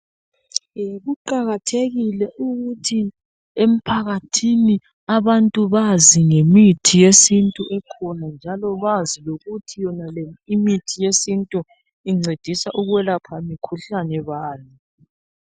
Kuqakathekile ukuthi emphakathini abantu bazi ngemithi yesintu ekhona njalo bazi lokuthi yonale imithi yesintu incedisa ukwelapha mikhuhlane bani.